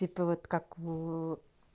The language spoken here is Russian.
типа вот как в